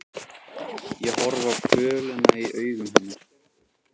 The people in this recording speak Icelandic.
Ég horfi á kvölina í augum hennar.